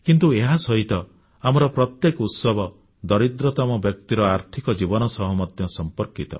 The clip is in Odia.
କିନ୍ତୁ ଏହାସହିତ ଆମର ପ୍ରତ୍ୟେକ ଉତ୍ସବ ଦରିଦ୍ରତମ ବ୍ୟକ୍ତିର ଆର୍ଥିକ ଜୀବନ ସହ ମଧ୍ୟ ସମ୍ପର୍କିତ